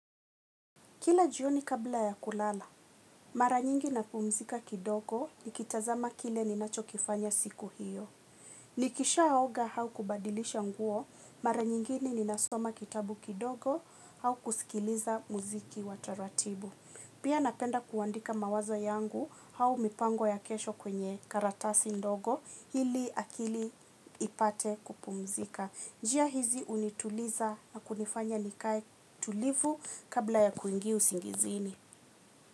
Kila jioni kabla ya kulala, mara nyingi napumzika kidogo, nikitazama kile ninachokifanya siku hiyo. Nikishaoga au kubadilisha nguo, mara nyingine ninasoma kitabu kidogo, au kusikiliza mziki wa taratibu. Pia napenda kuandika mawazo yangu au mipango ya kesho kwenye karatasi ndogo ili akili ipate kupumzika. Njia hizi hunituliza na kunifanya nikae tulivu kabla ya kuingia usingizini.